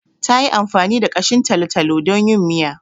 Ta yi amfani da ƙashin talo-talo don yin miya.